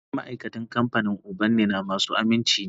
Dukan ma'aikatan kamfanin ubannina masu aminci ne